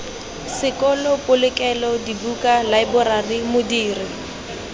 sekolo polokelo dibuka laeborari modiri